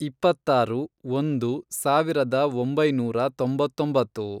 ಇಪ್ಪತ್ತಾರು, ಒಂದು, ಸಾವಿರದ ಒಂಬೈನೂರ ತೊಂಬತ್ತೊಂಬತ್ತು